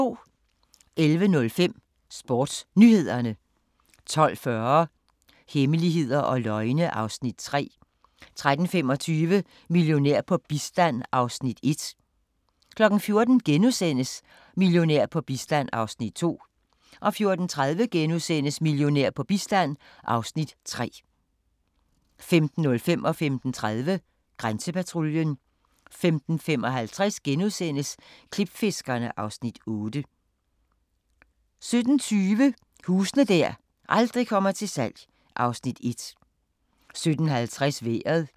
11:05: SportsNyhederne 12:40: Hemmeligheder og løgne (Afs. 3) 13:25: Millionær på bistand (Afs. 1) 14:00: Millionær på bistand (Afs. 2)* 14:30: Millionær på bistand (Afs. 3)* 15:05: Grænsepatruljen 15:30: Grænsepatruljen 15:55: Klipfiskerne (Afs. 8)* 17:20: Huse der aldrig kommer til salg (Afs. 1) 17:50: Vejret